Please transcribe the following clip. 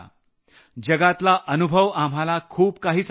जगातला अनुभव आम्हाला खूप काही सांगतो आहे